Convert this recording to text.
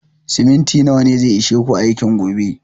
Siminti nawa ne zai ishe ku aikin gobe?